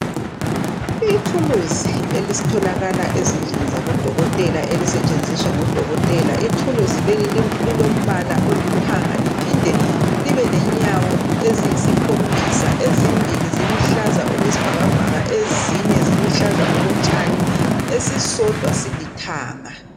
Ithuluzi elitholakala ezindlini zabodokoteka, elisetshenziswa ngodokotela. Ithuluzi leli lilombala olithanga. Liphinde libe lenyawo eziyisikhombisa. Ezimbili ziluhlaza okwesibhakabhaka. Ezine ziluhlaza okotshani. Esisodwa, siliithanga.